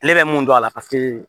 Ale bɛ mun dɔn a la paseke